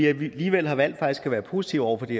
alligevel har valgt at være positive over for det